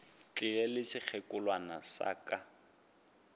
tlile le sekgekolwana sa ka